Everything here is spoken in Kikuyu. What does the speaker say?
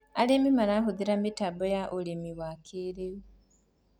arĩmi marahuthira mitambo ya ũrĩmi ya kĩiriu